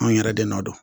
Anw yɛrɛ de ma dɔn